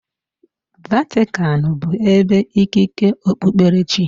Vatican bụ ebe ikike okpukpere chi.